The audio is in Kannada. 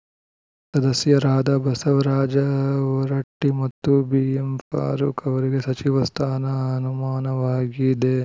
ಸದಸ್ಯರಾದ ಬಸವರಾಜ ಹೊರಟ್ಟಿಮತ್ತು ಬಿಎಂಫಾರೂಕ್‌ ಅವರಿಗೆ ಸಚಿವ ಸ್ಥಾನ ಅನುಮಾನವಾಗಿದೆ